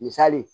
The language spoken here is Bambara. Misali